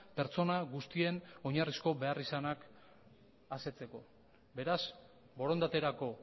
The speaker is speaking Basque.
pertsona guztien oinarrizko beharrizanak asetzeko beraz borondaterako